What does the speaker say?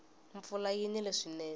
mpfula yi nile swinene